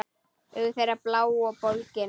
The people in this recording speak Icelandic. Augu þeirra blá og bólgin.